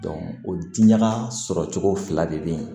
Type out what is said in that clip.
o diɲaga sɔrɔ cogo fila de bɛ yen